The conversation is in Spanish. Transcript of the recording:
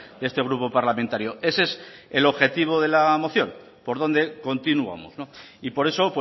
de este grupo parlamentario ese es el objetivo de la moción por dónde continuamos y por eso